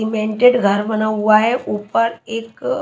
सिमेंटट घर बना हुआ हे ऊपर एक--